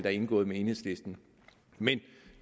er indgået med enhedslisten men